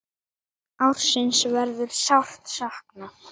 Þráins verður sárt saknað.